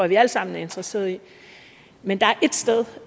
vi alle sammen er interesseret i men der er